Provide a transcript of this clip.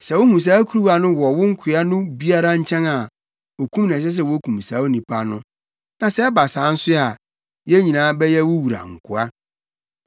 Sɛ wuhu saa kuruwa no wɔ wo nkoa no biara nkyɛn a, okum na ɛsɛ sɛ wukum saa onipa no. Na sɛ ɛba saa nso a, yɛn nyinaa bɛyɛ wo wura nkoa.”